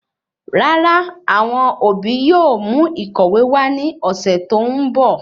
Rárá awọn obi yóò mú ìkọ̀wé wa ni ọsẹ tó ń bọ̀